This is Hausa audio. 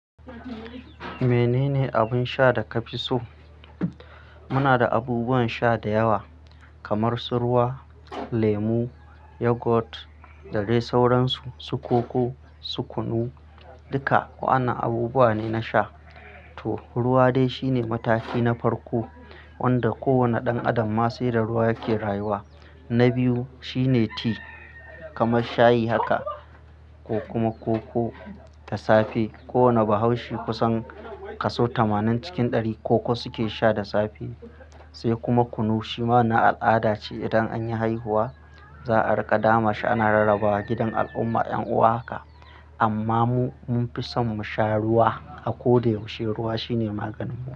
Menene abun sha da ka fi so? Muna da abubuwan sha da yawa kamar su ruwa, lemu, yogurt da dai sauransu, su koko, su kunu. Duka wa'annan abubuwa ne na sha. To, ruwa dai shine mataki na farko wanda kowane ɗan adam ma se da ruwa yake rayuwa. Na biyu shine ti kamar shayi haka ko kuma koko ta safe. Kowane bahaushe kusan kaso tamanin cikin ɗari koko suke sha da safe. Sai kuma kunu shi ma na al'ada ce idan anyi haihuwa za a riƙa dama shi ana rarrabawa gidan al'umma ƴan'uwa haka. Amma mu mun fi son mu sha ruwa a ko da yaushe. Ruwa shine maganin mu.